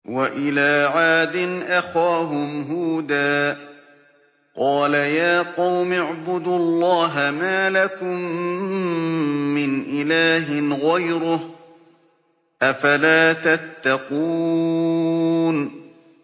۞ وَإِلَىٰ عَادٍ أَخَاهُمْ هُودًا ۗ قَالَ يَا قَوْمِ اعْبُدُوا اللَّهَ مَا لَكُم مِّنْ إِلَٰهٍ غَيْرُهُ ۚ أَفَلَا تَتَّقُونَ